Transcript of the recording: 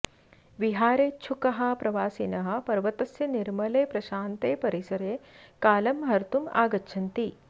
विहारेच्छुकाः प्रवासिनः पर्वतस्य निर्मले प्रशान्ते परिसरे कालं हर्तुम् आगच्छन्ति